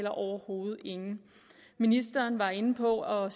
overhovedet ingen ministeren var inde på at